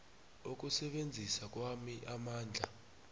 ukusebenzisa kwami amandla